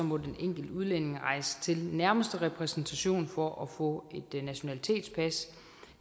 må den enkelte udlænding rejse til den nærmeste repræsentation for at få et nationalitetspas